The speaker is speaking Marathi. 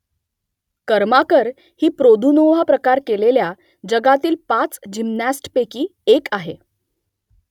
कर्माकर ही प्रोदुनोव्हा प्रकार केलेल्या जगातील पाच जिम्नॅस्टपैकी एक आहे